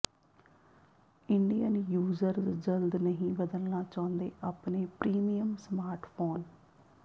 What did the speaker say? Indian users ਜਲਦ ਨਹੀਂ ਬਦਲਣਾ ਚਾਹੁੰਦੇ ਆਪਣੇ ਪ੍ਰੀਮੀਅਮ ਸਮਾਰਟਫੋਨ